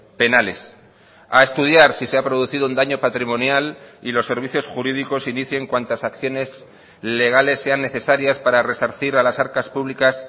penales a estudiar si se ha producido un daño patrimonial y los servicios jurídicos inicien cuantas acciones legales sean necesarias para resarcir a las arcas públicas